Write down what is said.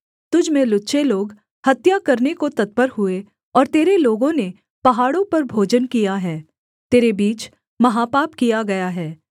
तुझ में लुच्चे लोग हत्या करने को तत्पर हुए और तेरे लोगों ने पहाड़ों पर भोजन किया है तेरे बीच महापाप किया गया है